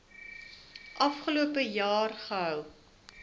afgelope jaar gehou